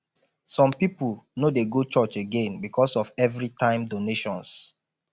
some people no dey go church again because of everytime donations